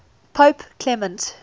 pope clement